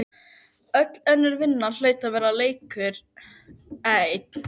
Anna og Guðmundur sátu á fremsta bekk niðri með krakkaskarann.